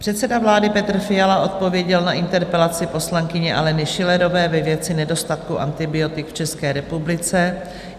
Předseda vlády Petr Fiala odpověděl na interpelaci poslankyně Aleny Schillerové ve věci nedostatku antibiotik v České republice.